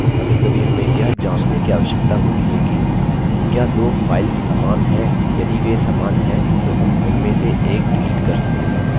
कभीकभी हमें यह जाँचने की आवश्यकता होती है कि क्या दो files समान हैं यदि वे समान हैं तो हम उनमें से एक डिलीट कर सकते हैं